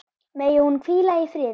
Megi hún hvíla í friði.